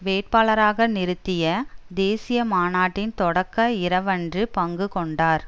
வேட்பாளராக நிறுத்திய தேசிய மாநாட்டின் தொடக்க இரவன்று பங்கு கொண்டார்